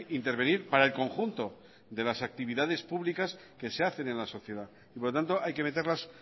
intervenir para el conjunto de las actividades públicas que se hacen en la sociedad y por lo tanto hay que meterlas